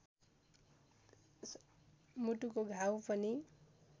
मुटुको घाउ पनि